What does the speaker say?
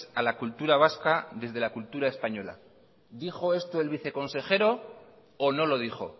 a la cultura vasca desde la cultura española dijo esto el consejero o no lo dijo